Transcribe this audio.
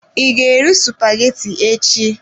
I ga-eri spaghetti echi?